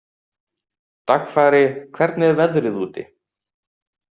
Dagfari, hvernig er veðrið úti?